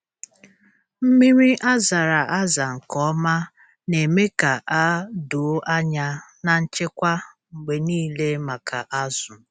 Mmiri a zara aza nke ọma na-eme ka a doo anya na nchekwa mgbe niile maka azụ.